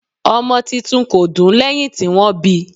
ọmọ titun kò dún lẹ́hìn tí wọ́n bíi.